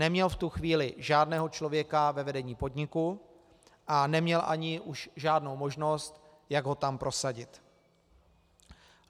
Neměl v tu chvíli žádného člověka ve vedení podniku a neměl už ani žádnou možnost, jak ho tam prosadit.